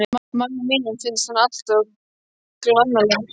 Manninum mínum finnst hann alltof glannalegur.